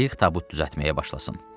qayıq tabut düzəltməyə başlasın.